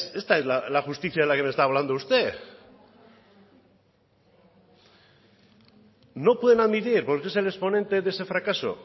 esta es la justicia de la que me está hablando usted no pueden admitir por qué es el exponente de ese fracaso